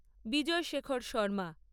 Bijoy Shekhar Sharma